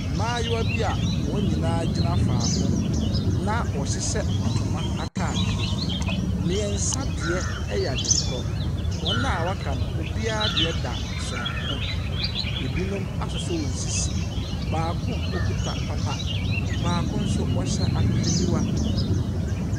Mmayewa bi a wɔn nyinaa gyina faako na wɔhyehyɛ ntoma ataadeɛ, mmiɛnsa deɛ yɛ adekorɔ. Wɔn a aka no, obiara deɛ da sononko, ɛbinom asosɔ wɔn sisi. Baako, okita papa, baako nso, ɔhyɛ ahwehwɛniwa.